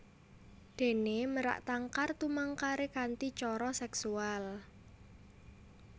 Déné merak tangkar tumangkaré kanthi cara seksual